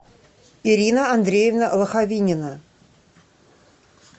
ирина андреевна лоховинина